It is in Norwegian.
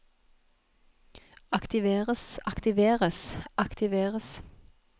aktiveres aktiveres aktiveres